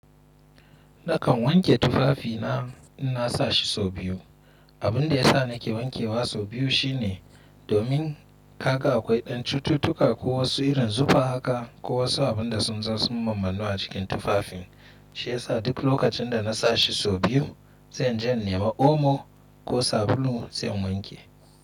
Nakan wanke tufafina in na sa shi sau biyu. Abin da ya sa nake wankewa sau biyu shi ne domin haka akwai ɗan cututtuka ko wasu irin zufa haka ko wasu abin da sun zo sun mammannu a cikin tufafin. Shi ya sa duk lokacin da na sa shi sau biyu, zan je nema omo ko sabulu zan wanke.